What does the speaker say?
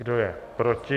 Kdo je proti?